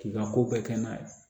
K'i ka ko bɛɛ kɛ n'a ye